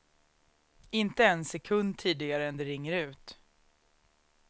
Inte en sekund tidigare än det ringer ut.